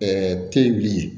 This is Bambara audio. teli